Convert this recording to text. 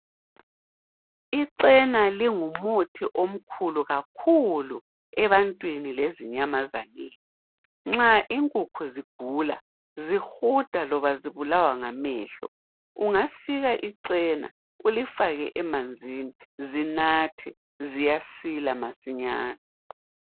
Icena lingumuthi omkhulu kakhulu ebantwini lezinyamazaneni. Nxa inkukhu zigula zihuda loba zibulawa ngamehlo, ungasika icena ulifake emanzini zinathe ziyasila masinyane.